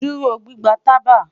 Duro gbigba taba